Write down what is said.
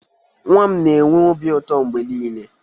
Nwa m na-enwe obi ụtọ mgbe niile